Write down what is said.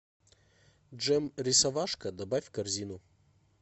джем рисовашка добавь в корзину